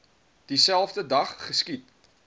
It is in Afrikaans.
dieselfde dag geskiet